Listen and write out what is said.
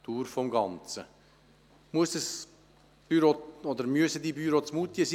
Zuerst zur Frage, ob die Büros in Moutier sein müssen, oder ob ein Umzug möglich wäre.